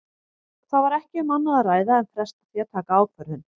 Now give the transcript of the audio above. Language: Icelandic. Það var ekki um annað að ræða en fresta því að taka ákvörðun.